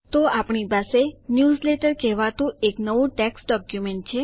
તો આપણી પાસે ન્યૂઝલેટર કહેવાતું એક નવું ટેક્સ્ટ ડોક્યુમેન્ટ છે